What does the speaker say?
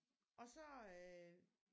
OG så øh